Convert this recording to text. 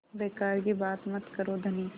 बेकार की बात मत करो धनी